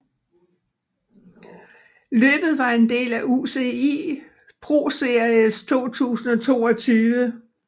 Løbet var en del af UCI ProSeries 2022